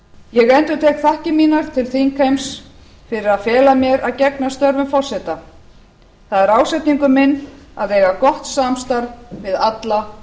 ég endurtek þakkir mínar til þingheims fyrir að fela mér að gegna störfum forseta það er ásetningur minn að eiga gott samstarf við alla